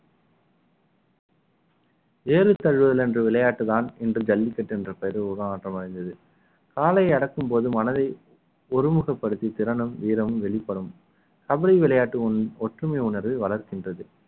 ஏறு தழுவுதல் என்ற விளையாட்டுதான் இன்று ஜல்லிக்கட்டு என்ற பெயரில் ஒரு உருமாற்றம் அடைந்தது காளை அடக்கும் போது மனதை ஒருமுகப்படுத்தி திறனும் வீரமும் வெளிப்படும் கபடி விளையாட்டு ஒன்~ ஒற்றுமை உணர்வை வளர்க்கின்றது